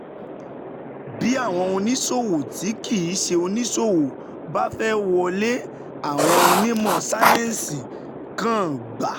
Bí àwọn oníṣòwò tí kì í ṣe oníṣòwò bá fẹ́ wọlé, àwọn onímọ̀ sáyẹ́ǹsì kan gbà